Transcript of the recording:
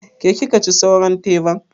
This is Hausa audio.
Ke kika ci sauran teban?